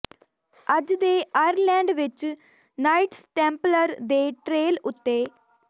ਅੱਜ ਦੇ ਆਇਰਲੈਂਡ ਵਿੱਚ ਨਾਈਟਸ ਟੈਂਪਲਰ ਦੇ ਟ੍ਰੇਲ ਉੱਤੇ